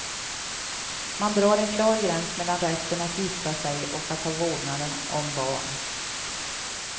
Man drar en klar gräns mellan rätten att gifta sig och att ha vårdnaden om barn.